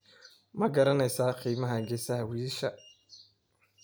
ma garanaysaa qiimaha geesaha wiyisha?